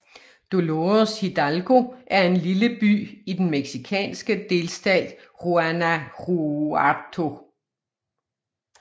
Dolores Hidalgo er en lille by i den mexicanske delstat Guanajuato